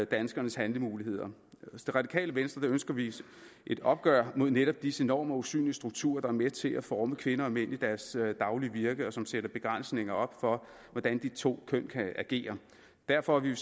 danskernes handlemuligheder hos det radikale venstre ønsker vi et opgør mod netop disse normer og usynlige strukturer der er med til at forme kvinder og mænd i deres daglige virke og som sætter begrænsninger op for hvordan de to køn kan agere derfor vil